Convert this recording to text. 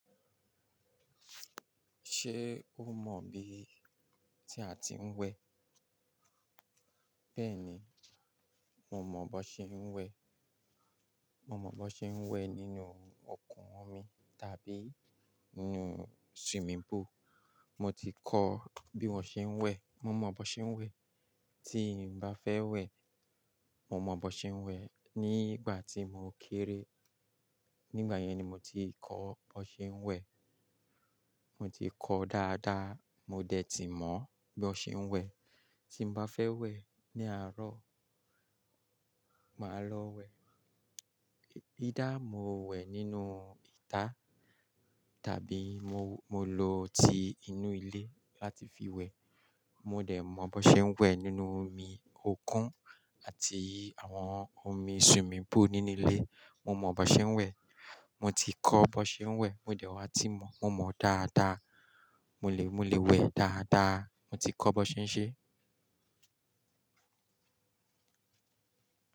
Ṣé o mọ̀ bí tí a ti ń wẹ̀? Bẹ́ẹ̀ni, mo mọ̀ bó ṣe ń wẹ̀. Mo mọ̀ bó ṣe ń wẹ̀ nínú òkun omi tàbí inú swimming pool. Mo ti kọ́ bí wọ́n ṣe ń wẹ̀. Mo mọ̀ bó ṣe ń wẹ̀. Tí n bá fẹ́ wẹ̀, mo mọ̀ bó ṣe ń wẹ̀. Ní ìgbà tí mo kéré, nígbà yẹn ni mo ti kọ́ bó ṣe ń wẹ̀. Mo ti kọ́ dáadáa, mo dẹ̀ ti mọ̀ bí ó ṣe ń wẹ̀. Tí n bá fẹ́ wẹ̀ ní àárọ̀, màá lọ wẹ̀. Either mo wẹ̀ nínú ìta tàbí mo, mo lo ti inú ilé láti fi wẹ̀. Mo dẹ̀ mọ̀ bó ṣe ń wẹ̀ nínú omi òkun àti àwọn omi swimming pool nínú ilé. Mo mọ̀ bó ṣe ń wẹ̀. Mo ti kọ́ bó ṣe ń wẹ̀. Mo dẹ̀ wá ti mọ̀. Mo mọ̀ dáadáa. Mo lè, mo lè wẹ̀ dáadáa. Mo ti kọ́ bó ṣe ń ṣe.